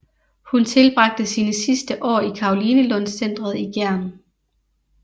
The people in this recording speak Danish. Hun tilbragte sine sidste år i Karolinelundscentret i Gjern